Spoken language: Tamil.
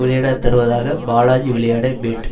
விளையாட தருவதாக பாலாஜி விளையாட பேட்